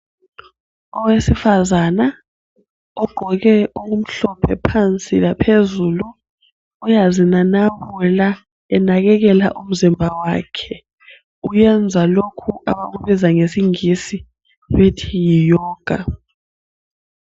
Owesifazana ogqoke okumhlophe phansi laphezulu uyazinanabula enakekela umzimba wakhe. Wenza lokhu abakubiza ngesingisi bethi yi 'yoga'.